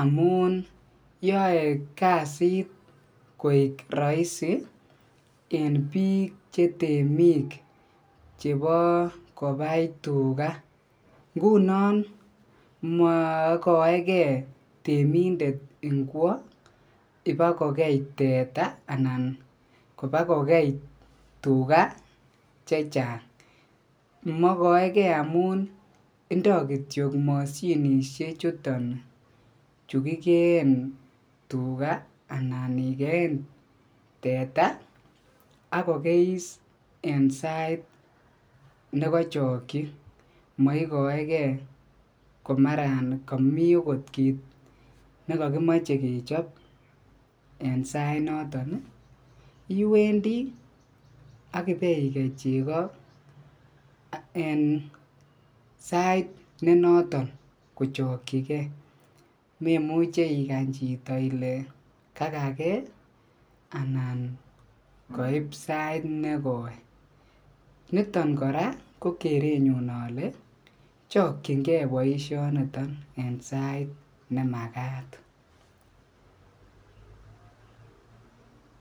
amun yoe kasit koik roisi en biik chetemik chebo kobai tukaa, ngunon mokoeke temindet ingwo ibakokei teta anan kobakokei tukaa chechang, mokoekee amun indo kitiok mosinisie chuton chukikeen tukaa anan ikeen tetan ak kokeis en sait nekochokyi, moikoekee k o maran komii okot kiit nekokimoche kechob en sainoton iwendi ak ibeikei cheko en sait nenoton kochokyike memuche ikany chito ilee kakakee anan koib sait nekoi, niton kora ko kerenyun olee chokyinge boishoniton en sait nemakat.